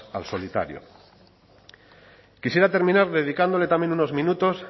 al solitario quisiera terminar dedicándole también unos minutos